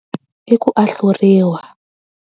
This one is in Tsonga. I ku ahluriwa.